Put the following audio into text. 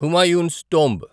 Humayun's tomb